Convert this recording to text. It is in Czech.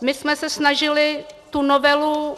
My jsme se snažili tu novelu